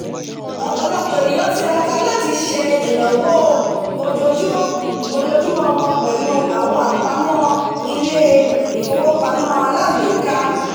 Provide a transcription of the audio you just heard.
ọ̀pọ̀lọpọ̀ ènìyàn tiraka láti sèto ìnáwó ojojúmó won pèlù àwon àpamó ilé - ìfowópamó aláàgbéká